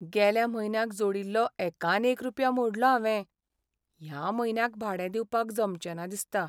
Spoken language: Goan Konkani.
गेल्या म्हयन्याक जोडिल्लो एकान एक रुपया मोडलो हांवें. ह्या म्हयन्याक भाडें दिवपाक जमचें ना दिसता.